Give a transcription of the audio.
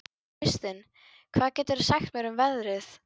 Kristin, hvað geturðu sagt mér um veðrið?